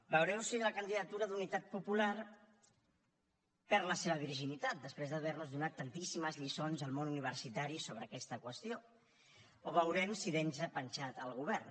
veureu si la candidatura d’unitat popular perd la seva virginitat després d’haver nos donat tantíssimes lliçons al món universitari sobre aquesta qüestió o veurem si deixa penjat el govern